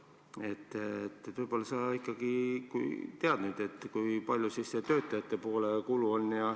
Võib-olla sa ikkagi tead nüüd, kui palju siis on see töötajate poole kulu.